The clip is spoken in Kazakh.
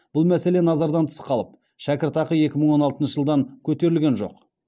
бұл мәселе назардан тыс қалып шәкіртақы екі мың он алтыншы жылдан көтерілген жоқ